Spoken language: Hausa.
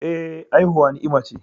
Eh, haihuwa ni'ima ce